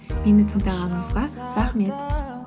мені тыңдағаныңызға рахмет